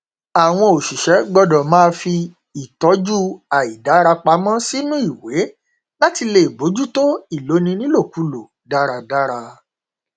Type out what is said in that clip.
àwọn òṣìṣẹ gbọdọ máa fi ìtọjú àìdára pamọ sínú ìwé láti lè bójútó ìloni nílòkulò dáradára